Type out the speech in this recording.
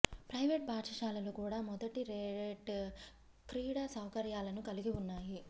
private పాఠశాలలు కూడా మొదటి రేట్ క్రీడా సౌకర్యాలను కలిగి ఉన్నాయి